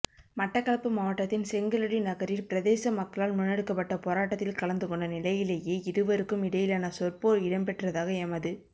மட்டக்களப்பு மாவட்டத்தின் செங்கலடி நகரில் பிரதேச மக்களால் முன்னெடுக்கப்பட்ட போராட்டத்தில் கலந்துகொண்ட நிலையிலேயே இருவருக்கும் இடையிலான சொற்போர் இடம்பெற்றதாக எமது